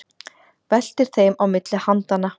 Veltir þeim á milli handanna.